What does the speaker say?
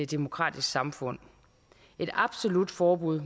demokratisk samfund et absolut forbud